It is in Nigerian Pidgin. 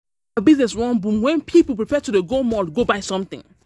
How our business wan boom when people prefer to dey go mall go buy something?